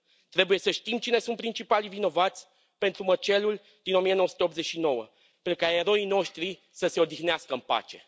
Trebuie să știm cine sunt principalii vinovați pentru măcelul din 1989 pentru ca eroii noștri să se odihnească în pace.